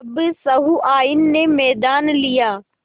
अब सहुआइन ने मैदान लिया